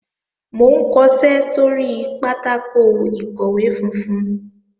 Mò ń kọṣẹ́ sóri pátákò ìkọ̀wé funfun